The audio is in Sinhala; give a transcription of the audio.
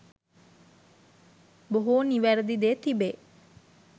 බොහෝ නිවැරැදි දේ තිබේ.